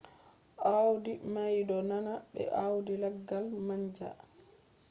audi mai do nanda be audi laggal manja